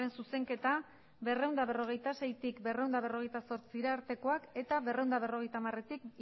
zuzenketa berrehun eta berrogeita seitik berrehun eta berrogeita zortzira artekoak eta berrehun eta berrogeita hamaretik